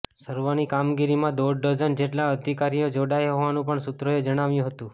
સર્વેની કામગીરીમાં દોઢ ડઝન જેટલા અધિકારીઓ જોડાયા હોવાનું પણ સૂત્રોએ જણાવ્યું હતું